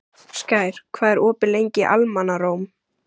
Skær, hvað er opið lengi í Almannaróm?